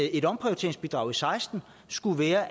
et omprioriteringsbidrag og seksten skulle være